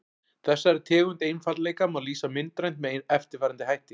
Þessari tegund einfaldleika má lýsa myndrænt með eftirfarandi dæmi.